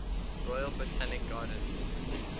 royal botanic gardens